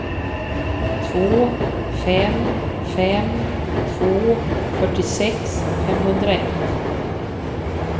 två fem fem två fyrtiosex femhundraett